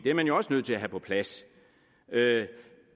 er man jo også nødt til at have på plads